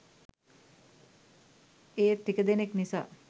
ඒත් ටික දෙනෙක් නිසා